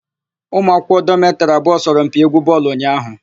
Ụmụ akwụkwọ dọmetịrị abụọ sọrọ mpi égwú bọọlụ ụnyaahụ.